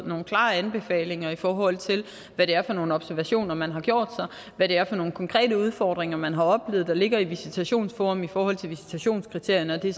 nogle klare anbefalinger i forhold til hvad det er for nogle observationer man har gjort og hvad det er for nogle konkrete udfordringer man har oplevet der ligger i visitationsforum i forhold til visitationskriterierne og det